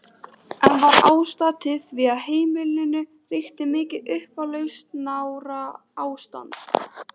Enn var ástæða til því á heimilinu ríkti mikið upplausnarástand.